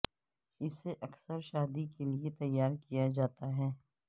اسے اکثر شادی کے لئے تیار کیا جاتا ہے